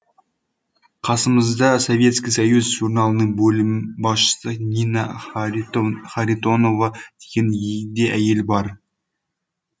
қасымызда советский союз журналының бөлім басшысы нина харитонова деген егде әйел бар